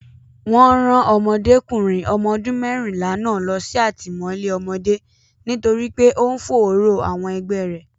Wọn rán Ọmọdékùnrin ọmọ ọdún mẹ́rìnlá náà lọ sí àtìmọ́lé ọmọdé nítorí pé ó ń fòòró àwọn ẹgbẹ́ rẹ̀.